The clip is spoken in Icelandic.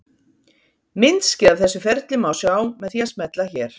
myndskeið af þessu ferli má sjá með því að smella hér